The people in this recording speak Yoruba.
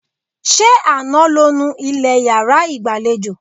Ṣé àná lo nu ilẹ̀ yàrá ìgbàlejò?